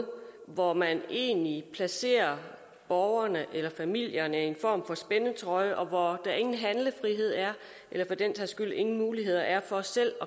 hvor man egentlig placerer borgerne eller familierne i en form for spændetrøje og hvor der ingen handlefrihed er eller for den sags skyld ingen muligheder er for selv